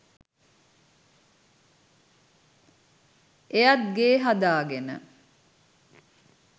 එයත් ගේ හදාගෙන